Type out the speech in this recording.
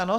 Ano.